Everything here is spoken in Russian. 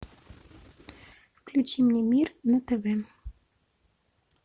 включи мне мир на тв